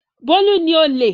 Bólú ni olè.